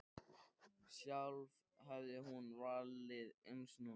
Sjálf hefði hún valið eins nú.